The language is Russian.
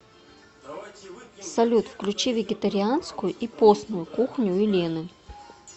салют включи вегетарианскую и постную кухню елены